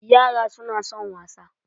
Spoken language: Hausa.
Yara suna son wasa.